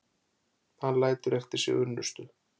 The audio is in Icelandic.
Hann lætur eftir sig unnustu